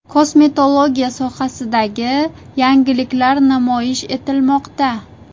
Kosmetologiya sohasidagi yangiliklar namoyish etilmoqda.